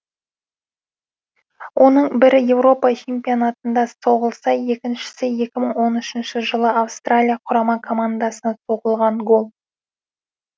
оның бірі еуропа чемпионатында соғылса екіншісі екі мың он үшінші жылы австралия құрама командасына соғылған гол